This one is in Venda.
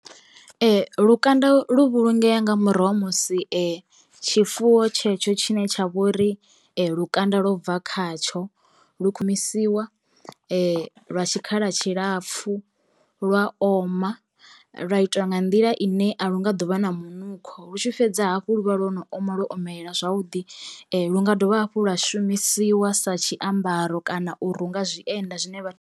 Lukanda lu vhulungea nga murahu ha musi tshifuwo tshetsho tshine tsha vhori lukanda lwo bva khatsho. Lu lwa tshikhala tshilapfhu lwa oma, lwa itwa nga nḓila ine a lu nga ḓovha na munukho lu tshi fhedza hafhu luvha lwo no oma lwo omelela zwavhuḓi lu nga dovha hafhu lwa shumisiwa sa tshiambaro kana u runga zwienda zwine vha....